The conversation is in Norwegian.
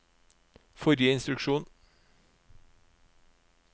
forrige instruksjon